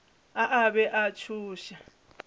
a a be a tšhoša